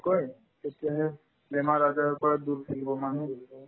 ভালকৈ তেতিয়াহে বেমাৰ-আজাৰৰ পৰা দূৰত থাকিব